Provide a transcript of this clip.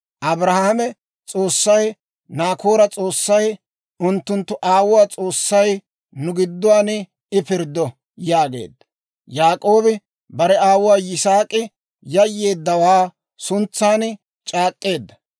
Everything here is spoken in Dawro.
Abrahaame S'oossay, Naakoora S'oossay, unttunttu aawuwaa S'oossay, nu gidduwaan I pirddo» yaageedda. Yaak'oobi bare aawuu Yisaak'i Yayyeeddawaa suntsaan c'aak'k'eedda.